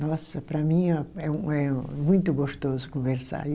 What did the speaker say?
Nossa, para mim a, é um é muito gostoso conversar e.